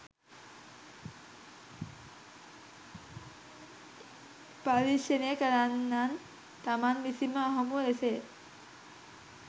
පර්යේෂණ කරන්නන් තමන් විසින්ම අහඹු ලෙසය.